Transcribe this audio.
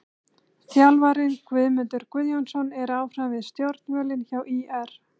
Þjálfarinn: Guðmundur Guðjónsson er áfram við stjórnvölinn hjá ÍR.